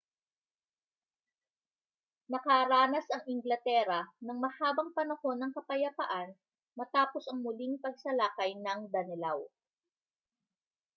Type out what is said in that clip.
nakaranas ang inglatera ng mahabang panahon ng kapayapaan matapos ang muling pagsalakay ng danelaw